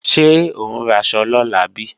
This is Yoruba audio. Ṣé ò ń raṣọ lọ́la bí?